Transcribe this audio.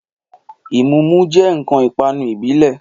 Ìmúmu jẹ́ ǹkan ìpanu ìbílẹ̀